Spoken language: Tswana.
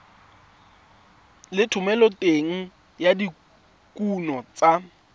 le thomeloteng ya dikuno tsa